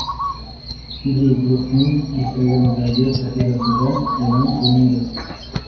Video guruhning Instagram’dagi sahifasida e’lon qilindi.